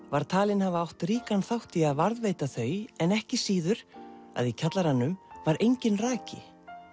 var talinn hafa átt ríkan þátt í að varðveita þau en ekki síður að kjallaranum var enginn raki